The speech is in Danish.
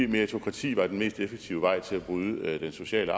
meritokrati var den mest effektive vej til at bryde den sociale